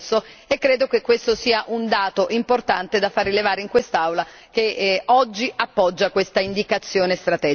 Credo che questo sia un dato importante da far rilevare in quest'Aula, che oggi appoggia questa indicazione strategica.